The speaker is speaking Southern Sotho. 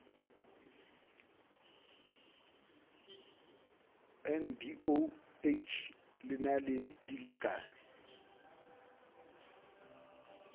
ndoh le na le dilekane